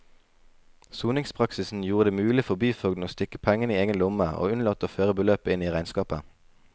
Soningspraksisen gjorde det mulig for byfogden å stikke pengene i egen lomme og unnlate å føre beløpet inn i regnskapet.